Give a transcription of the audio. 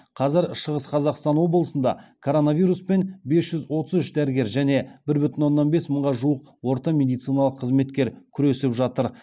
қазір шығыс қазақстан облысында коронавируспен бес жүз отыз үш дәрігер және бір бүтін оннан бес мыңға жуық орта медициналық қызметкер күресіп жатыр